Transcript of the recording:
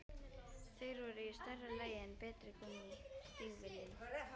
Þeir voru í stærra lagi en betri en gúmmí- stígvélin.